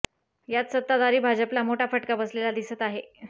यात सत्ताधारी भाजपला मोठा फटका बसलेला दिसत आहे